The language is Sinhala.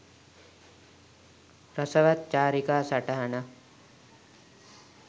රසවත් චාරිකා සටහනක්